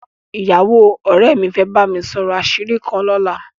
Ìyàwó ọ̀rẹ́ mi fẹ́ bá mi sọ̀rọ̀ àṣírí kan lọ́la